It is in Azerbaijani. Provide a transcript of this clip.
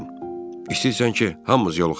İstəyirsən ki, hamımız yoluxaq?